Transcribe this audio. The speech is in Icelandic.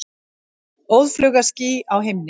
Óðfluga ský á himni.